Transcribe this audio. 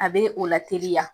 A bɛ o la teliya